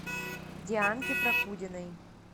дианке прокудиной